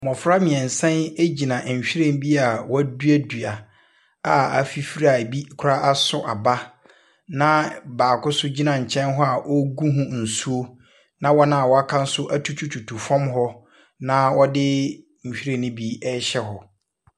Mmɔfra mmeɛnsa yi gyinanh nwiren bi a wɔaduadua a afifiri a ebi koraa aso aba, na baako nso gyina nkyɛn a ɔregu ho nso, na wɔn a wɔaka no nso atututu fam hɔ, na wɔde nhwiren no bi rehyɛ hɔ.